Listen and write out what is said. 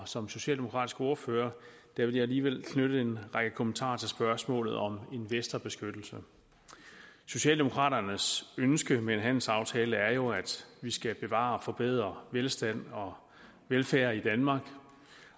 som socialdemokratisk ordfører vil jeg alligevel knytte en række kommentarer til spørgsmålet om investorbeskyttelse socialdemokraternes ønske med en handelsaftale er jo at vi skal bevare og forbedre velstand og velfærd i danmark